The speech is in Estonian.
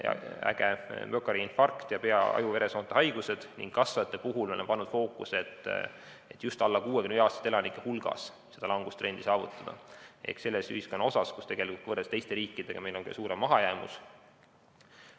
Kasvajate puhul on fookuses see, et saavutada langustrend just alla 65‑aastaste elanike hulgas ehk selles ühiskonnaosas, kus võrreldes teiste riikidega on meil suurem mahajäämus.